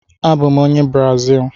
Abụ m onye Brazil.